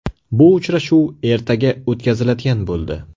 Bu uchrashuv ertaga o‘tkaziladigan bo‘ldi.